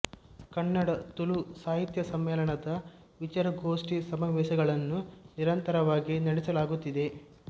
ಕನ್ನಡ ತುಳು ಸಾಹಿತ್ಯ ಸಮ್ಮೇಳನ ವಿಚಾರಗೋಷ್ಠಿ ಸಮಾವೇಶಗಳನ್ನು ನಿರಂತರವಾಗಿ ನಡೆಸಲಾಗುತ್ತಿದೆ